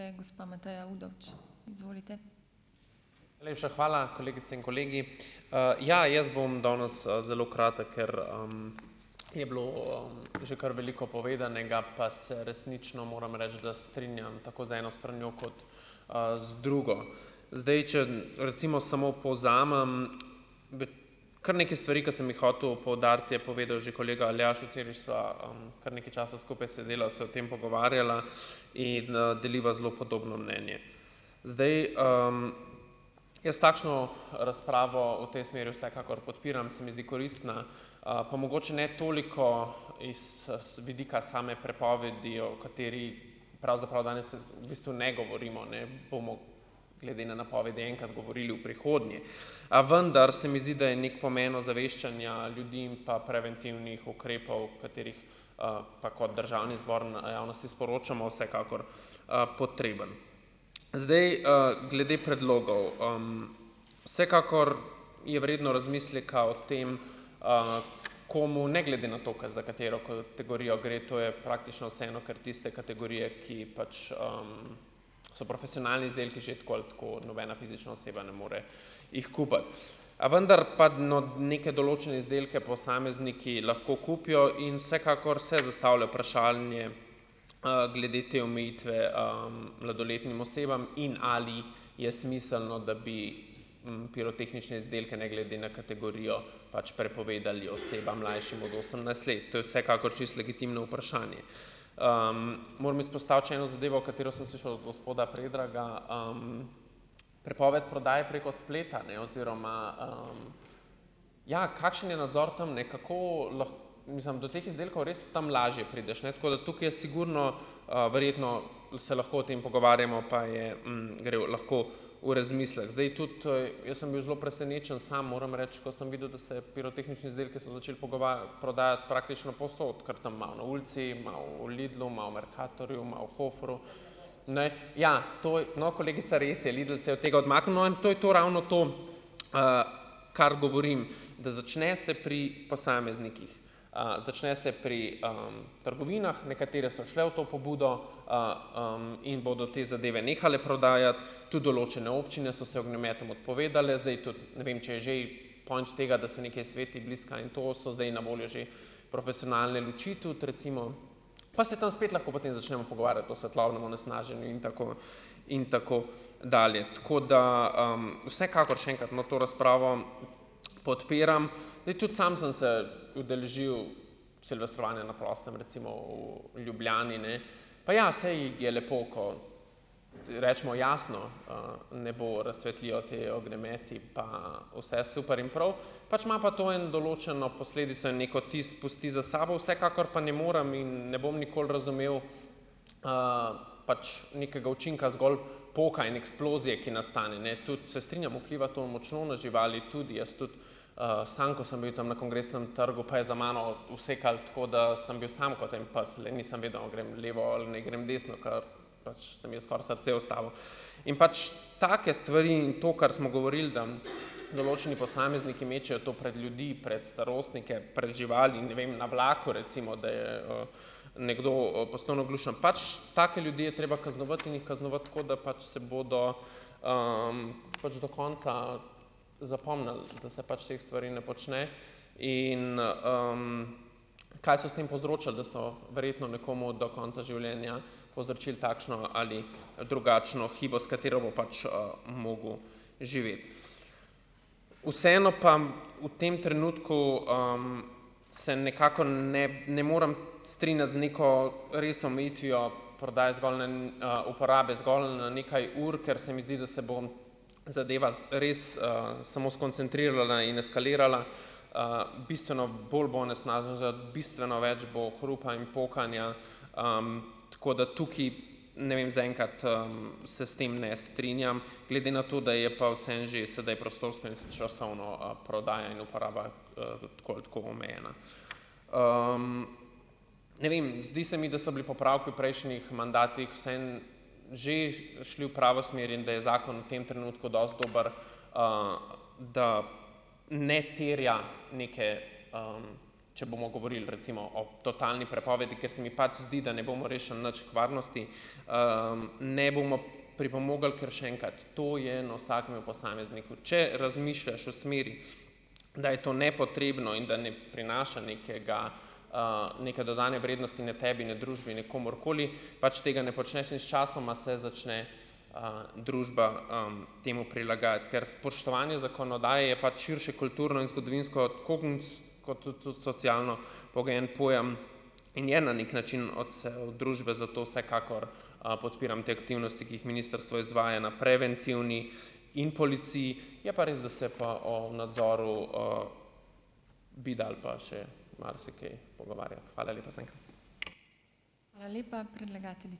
lepša hvala, kolegice in kolegi, ja, jaz bom danes, zelo kratek, ker, je bilo o, že kar veliko povedanega, pa se resnično moram reči, da strinjam tako z eno stranjo kot, z drugo. Zdaj, če recimo samo povzamem kar nekaj stvari, ki sem jih hotel poudariti, je povedal že kolega Aljaž, včeraj sva, kar nekaj časa skupaj sedela, se o tem pogovarjala in, deliva zelo podobno mnenje. Zdaj, jaz takšno razpravo v tej smeri vsekakor podpiram, se mi zdi koristna, a pa mogoče ne toliko iz z vidika same prepovedi, o kateri pravzaprav danes v bistvu ne govorimo, ne, bomo glede na napovedi enkrat govorili v prihodnje, a vendar se mi zdi, da je neki pomen ozaveščanja ljudi in pa preventivnih ukrepov, katerih, tako državni zbor na javnosti sporočamo, vsekakor, potreben, zdaj, glede predlogov, vsekakor je vredno razmisleka o tem, komu, ne, glede na to, ko za katero kategorijo gre, to je praktično vseeno, kar tiste kategorije, ki pač, so profesionalni izdelki že tako ali tako nobena fizična oseba ne more jih kupiti, a vendar pa, no, neke določene izdelke posamezniki lahko kupijo in vsekakor se zastavlja vprašanje, glede te omejitve, mladoletnim osebam in ali je smiselno, da bi pirotehnične izdelke ne glede na kategorijo pač prepovedali osebam, mlajšim od osemnajst let, to je vsekakor čisto legitimno vprašanje, moramo izpostaviti še eno zadevo, katero sem se šel gospoda Predraga, prepoved prodaje preko spleta, ne, oziroma, ja, kakšen je nadzor tam, ne, kako lahko, mislim, do teh izdelkov res tam lažje prideš, tako da tukaj je sigurno, verjetno se lahko o tem pogovarjamo pa je, gre v lahko v razmislek, zdaj, tudi, ej, jaz sem bil zelo presenečen, sam moram reči, ko sem videl, da se je pirotehnične izdelke so začeli prodajati praktično povsod, kar tam malo na ulici, malo v Lidlu, malo v Mercatorju, malo v Hoferju, ne, ja, to, no, kolegica, res je, Lidl se je od tega odmaknil, in to je to ravno to, kar govorim, da začne se pri posameznikih, začne se pri, trgovinah, nekatere so šle v to pobudo, in bodo te zadeve nehale prodajati, tudi določene občine so se ognjemetom odpovedale, zdaj tudi ne vem, če je že point tega, da se nekaj sveti, bliska, in to so zdaj na voljo že profesionalne luči tudi recimo, pa se tam spet lahko potem začnemo pogovarjati o svetlobnem onesnaženju in tako in tako dalje, tako da, vsekakor še enkrat, no, to razpravo podpiram, zdaj, tudi sam sem se udeležil silvestrovanja na prostem, recimo v Ljubljani, ne, pa ja saj je lepo, ko recimo jasno, nebo razsvetlijo ti ognjemeti pa vse super in prav, pač ima pa to eno določeno posledico in neki vtis pusti za sabo, vsekakor pa ne morem in ne bom nikoli razumel, pač nekega učinka zgolj pokanja in eksplozije, ki nastane, ne, tudi se strinjam, vpliva to močno na živali, tudi jaz tudi, sam ko sem bil tam na Kongresnem trgu, pa je za mano usekalo tako, da sem bil samo kot en pes, nisem vedel, ali grem levo ali naj grem desno, ke pač se mi skoraj srce ustavilo, in pač take stvari in to, kar smo govorili, da določeni posamezniki mečejo to pred ljudi pred starostnike, pred živali in, ne vem, na vlaku, recimo, da je, nekdo postal naglušen, pač take ljudi je treba kaznovati in jih kaznovati, tako da pač se bodo, pač do konca zapomnili, da se pač teh stvari ne počne. In, kaj so s tem povzročili? Da so verjetno nekomu do konca življenja povzročili takšno ali drugačno hibo, s katero bo pač, mogel živeti, vseeno pa bom v tem trenutku, se nekako, ne, ne morem strinjati z neko res omejitvijo prodaje zgolj, ne, uporabe zgolj na nekaj ur, ker se mi zdi, da se bo zadeva res, samo skoncentrirala in eskalirala, bistveno bolj bo onesnažen, za bistveno več bo hrupa in pokanja, tako da tukaj, ne vem, zaenkrat, se s tem ne strinjam glede na to, da je pa vseeno že sedaj prostorsko in s časovno, prodajanje in uporaba, tako ali tako omejena, ne vem, zdi se mi, da so bili popravki v prejšnjih mandatih vseeno že šli v pravo smer in da je zakon v tem trenutku dosti dober, da ne terja neke, če bomo govorili recimo o totalni prepovedi, ker se mi pač zdi, da ne bomo rešili nič kvarnosti, ne bomo pripomogli kar še enkrat, to je na vsakem posamezniku, če razmišljaš v smeri, da je to nepotrebno in da ne prinaša nekega, neke dodane vrednosti ne tebi, ne družbi, ne komurkoli, pač tega ne počneš in sčasoma se začne, družba, temu prilagajati, ker spoštovanje zakonodaje je pač širše kulturno in zgodovinsko kot tu tu socialno pogojen pojem, in je na neki način odsev družbe, zato vsekakor, podpiram te aktivnosti, ki jih ministrstvo izvaja na preventivni in policiji, je pa res, da se pa o nadzoru, bi dalo pa še marsikaj pogovarjati. Hvala lepa zaenkrat.